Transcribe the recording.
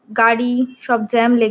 গাড়ি সব জ্যাম লেগে---